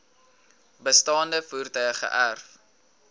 bestaande voertuie geërf